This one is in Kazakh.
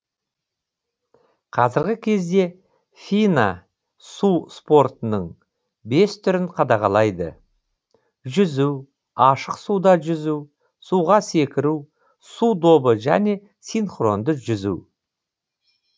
қазіргі кезде фина су спортының бес түрін қадағалайды жүзу ашық суда жүзу суға секіру су добы және синхронды жүзу